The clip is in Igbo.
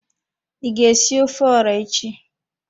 I ga esi ofe ora echi?